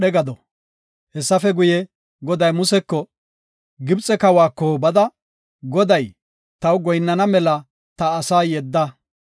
Hessafe guye, Goday Museko, “Gibxe kawako bada, ‘Goday, taw goyinnana mela ta asaa yedda.